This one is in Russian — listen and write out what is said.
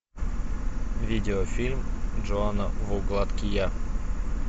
видео фильм джона ву гадкий я